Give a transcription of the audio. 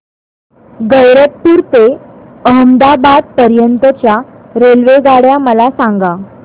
गैरतपुर ते अहमदाबाद पर्यंत च्या रेल्वेगाड्या मला सांगा